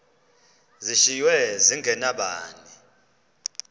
zishiywe zinge nabani